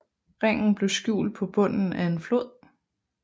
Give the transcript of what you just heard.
Ringen blev skjult på bunden af en flod